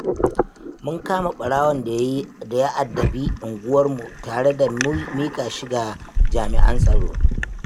Mun kama ɓarawon da ya addabi unguwarmu, tare da miƙa shi ga jami'an tsaro.